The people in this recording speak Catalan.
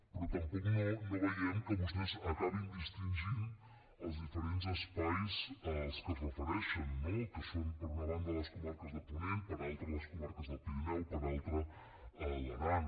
però tampoc no veiem que vostès acabin distingint els diferents espais als que es refereixen no que són per una banda les comarques de ponent per altra les comarques del pirineu per altra l’aran